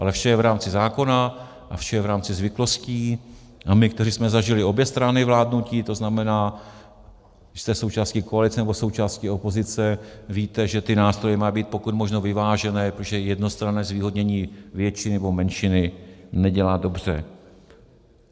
Ale vše je v rámci zákona a vše je v rámci zvyklostí a my, kteří jsme zažili obě strany vládnutí, to znamená, když jste součástí koalice, nebo součástí opozice, víte, že ty nástroje mají být pokud možno vyvážené, protože jednostranné zvýhodnění většiny nebo menšiny nedělá dobře.